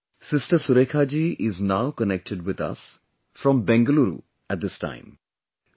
Friends, Sister Surekha ji is now connected with us from Bengaluru at this time